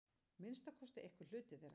Minnsta kosti einhver hluti þeirra.